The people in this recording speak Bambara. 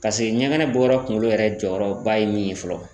Paseke ɲɛgɛnɛ bɔ yɔrɔ kunkolo yɛrɛ jɔyɔrɔba ye min ye fɔlɔ.